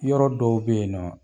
Yɔrɔ dɔw be yen nɔn